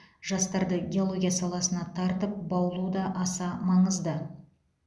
жастарды геология саласына тартып баулу да аса маңызды